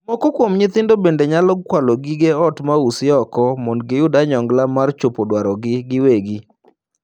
Moko kuom nyithindo bende nyalo kwalo gige ot ma usi oko mondo giyud onyongla mar chopo dwarogi giwegi.